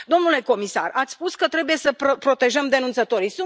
Domnule comisar, ați spus că trebuie să protejăm denunțătorii.